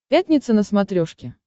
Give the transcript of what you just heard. пятница на смотрешке